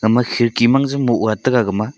gama khirki man jaw bow ga taiga gama.